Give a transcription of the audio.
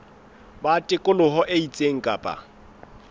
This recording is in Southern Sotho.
ba tikoloho e itseng kapa